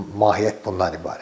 Mahiyyət bundan ibarətdir.